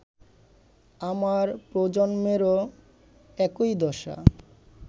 আমার প্রজন্মেরও একই দশা